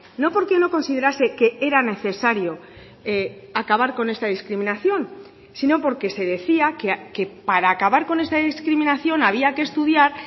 no porque no considerase que era necesario acabar con esta discriminación sino porque se decía que para acabar con esta discriminación había que estudiar